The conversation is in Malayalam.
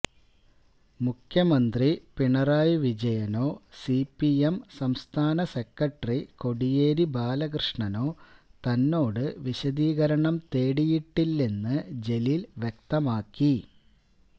മുഖ്യമന്ത്രി പിണറായി വിജയനോ സിപിഎം സംസ്ഥാന സെക്രട്ടറി കോടിയേരി ബാലകൃഷ്ണനോ തന്നോട് വിശദീകരണം തേടിയിട്ടില്ലെന്ന് ജലീൽ വ്യക്തമാക്കി